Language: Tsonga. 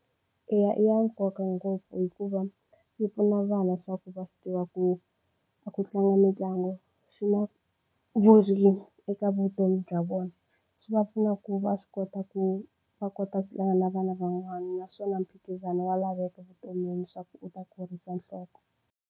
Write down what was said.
Eya i ya nkoka ngopfu hikuva yi pfuna vana swa ku va swi tiva ku a ku tlanga mitlangu swi na eka vutomi bya vona swi va pfuna ku va swi kota ku va kota ku tlanga na vana van'wana naswona mphikizano wa laveka vutomini swa ku u ta kurisa nhloko.